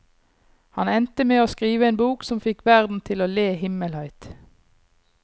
Han endte med å skrive en bok som fikk verden til å le himmelhøyt.